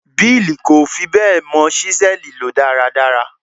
Bill kò fi bẹ́ẹ̀ mọ ṣísẹ́ẹ̀lì lò dáradára.